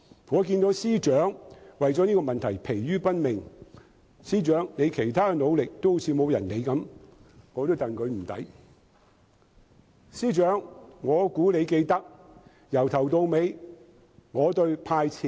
我看到司長為了這個問題而疲於奔命，而司長的其他努力卻似乎沒有人理會，我也為他感到不值。